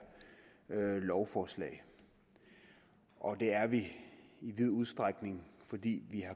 lovforslag og det er vi i vid udstrækning fordi vi